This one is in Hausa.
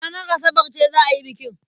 Ranar Asabar ce za a yi bikin.